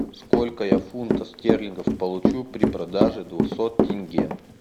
сколько я фунтов стерлингов получу при продаже двухсот тенге